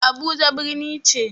Abuja birni ce.